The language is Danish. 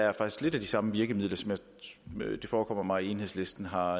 er faktisk lidt de samme virkemidler som det forekommer mig at enhedslisten har